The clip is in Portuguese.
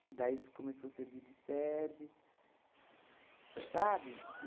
Que daí se começou a servir de sede, sabe?